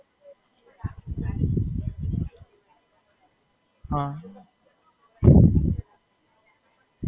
અચ્છા.